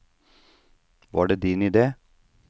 Var det din idé?